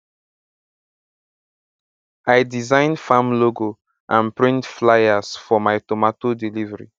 i design farm logo and print flyers for my tomato delivery